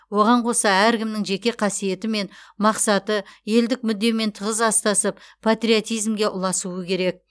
оған қоса әркімнің жеке қасиеті мен мақсаты елдік мүддемен тығыз астасып патриотизмге ұласуы керек